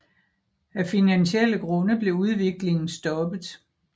Af finansielle grunde blev udviklingen stoppet